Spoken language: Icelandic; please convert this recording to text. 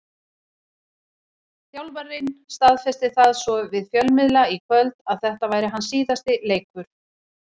Þjálfarinn staðfesti það svo við fjölmiðla í kvöld að þetta væri hans síðasti leikur.